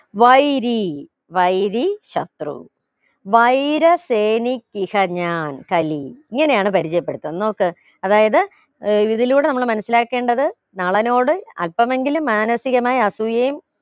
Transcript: വൈരി വൈരി ശത്രു വൈര്യസേനിക്കിഷ ഞാൻ കലി ഇങ്ങനെയാണ് പരിചയപ്പെടുത്തുന്ന് നോക്ക് അതായത് ഏർ ഇതിലൂടെ നമ്മൾ മനസിലാക്കേണ്ടത് നളനോട് അല്പമെങ്കിലും മാനസികമായ അസൂയയും